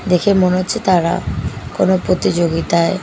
দেখে মনে হচ্ছে তারা কোনো প্রতিযোগিতায়--